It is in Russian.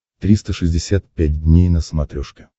триста шестьдесят пять дней на смотрешке